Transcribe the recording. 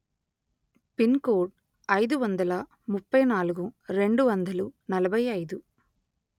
pin code అయిదు వందల ముప్పై నాలుగు రెండు వందలు నలభై అయిదు